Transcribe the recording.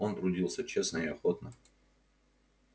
он трудился честно и охотно